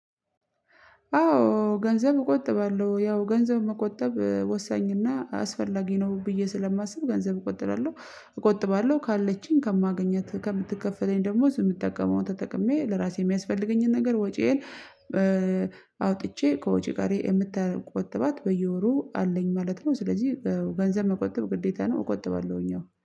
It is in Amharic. አዎ ገንዘብ እቆጥባለሁ ያው ገንዘብ መቆጠብ ወሳኝና አስፈላጊ ነው ብዬ ስለማስብ ገንዘብ እቆጥራለሁ እቆጥባለሁ ካለችኝ ከማገኛት ከምትከፈለኝ ደሞዝ የምጠቀመውን ተጠቅሜ ለራሴ የሚያስፈልገኝን ነገር ወጪዬን አውጥቼ ከወጪ ቀሪ የምተቆጥባት በየወሩ አለኝ ማለት ነው ስለዚህ ገንዘብ መቆጠብ ግዴታ ነው እቆጥባለሁኝ አዎ